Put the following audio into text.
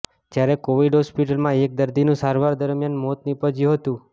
જ્યારે કોવિડ હોસ્પિટલમાં એક દર્દીનું સારવાર દરમિયાન મોત નિપજ્યું હતું